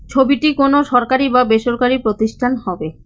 ছবিটি কোন সরকারি বা বেসরকারি প্রতিষ্ঠান হবে।